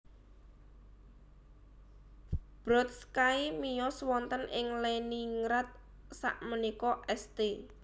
Brodsky miyos wonten ing Leningrad sakmenika St